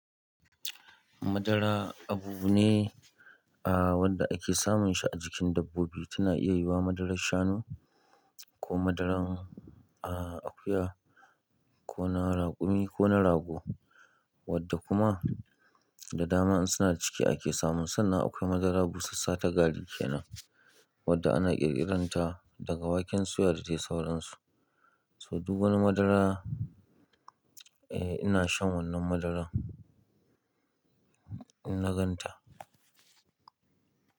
Madara abu ne, wanda ake samun shi a jikin dabbobi. Tana iya yiwuwa madarar shanu, ko madaran akuya, ko na raƙumi, ko na rago. Wadda kuma, da dama in suna da ciki ake samun su, sannan akwai madara busassa ta gari kenan wadda ana ƙirƙiran ta daga waken suya da dai sauransu. So, duk wani madara, eh, ina shan wannan madaran, in na gan ta.